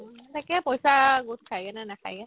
তাকে পইচা গোট খাইগেনে নেখাইগে ?